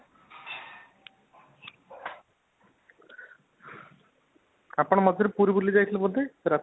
ଆପଣ ମଝିରେ ପୁରୀ ବୁଲି ଯାଇଥିଲେ ବୋଧେ ?